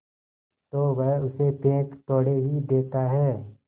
तो वह उसे फेंक थोड़े ही देता है